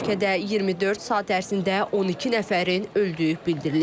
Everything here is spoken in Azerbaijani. Ölkədə 24 saat ərzində 12 nəfərin öldüyü bildirilib.